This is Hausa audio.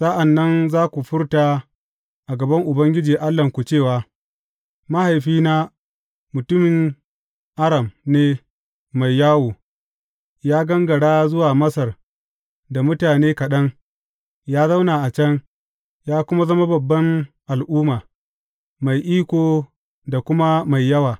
Sa’an nan za ku furta a gaban Ubangiji Allahnku cewa, Mahaifina mutumin Aram ne mai yawo, ya gangara zuwa Masar da mutane kaɗan, ya zauna a can, ya kuma zama babban al’umma, mai iko da kuma mai yawa.